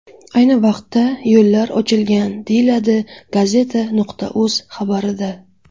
Ayni vaqtda yo‘llar ochilgan, deyiladi Gazeta.uz xabarida.